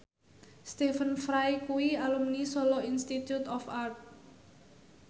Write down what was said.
Stephen Fry kuwi alumni Solo Institute of Art